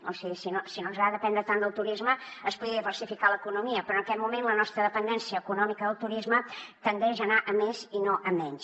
o sigui si no ens agrada dependre tant del turisme es podria diversificar l’economia però en aquest moment la nostra dependència econòmica del turisme tendeix a anar a més i no a menys